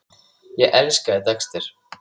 Ég elskaði Dexter.